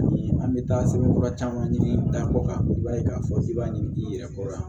Ni an bɛ taa sɛbɛn kura caman ɲini dan kɔ kan i b'a ye k'a fɔ k'i b'a ɲini i yɛrɛ kɔrɔ